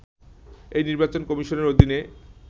এ নির্বাচন কমিশনের অধীনে